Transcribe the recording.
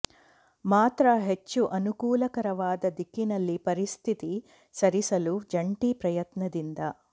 ಮಾತ್ರ ಹೆಚ್ಚು ಅನುಕೂಲಕರವಾದ ದಿಕ್ಕಿನಲ್ಲಿ ಪರಿಸ್ಥಿತಿ ಸರಿಸಲು ಜಂಟಿ ಪ್ರಯತ್ನದಿಂದ